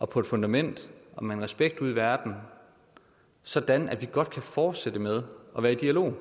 på et fundament og med en respekt ude i verden sådan at vi godt kan fortsætte med at være i dialog